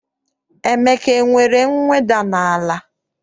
Emeka enwere mweda n'ala?